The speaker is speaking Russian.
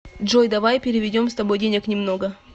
джой давай переведем с тобой денег немного